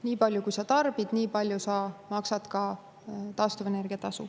Nii palju, kui sa tarbid, nii palju sa maksad ka taastuvenergia tasu.